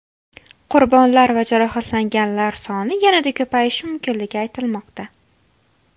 Qurbonlar va jarohatlanganlar soni yanada ko‘payishi mumkinligi aytilmoqda.